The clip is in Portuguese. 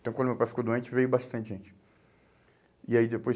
Então, quando meu pai ficou doente, veio bastante gente. E aí depois